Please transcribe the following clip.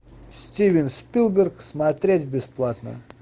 стивен спилберг смотреть бесплатно